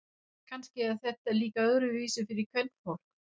Kannski er þetta líka öðruvísi fyrir kvenfólk.